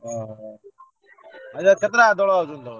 ଅହ। ଅଇଖା କେତେଟା ଦୋଳ ଆଉଛନ୍ତି ତମର?